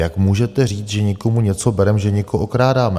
Jak můžete říct, že někomu něco bereme, že někoho okrádáme?